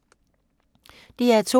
DR2